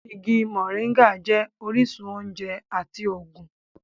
Igi moringa jẹ́ orísun oúnjẹ àti ògùn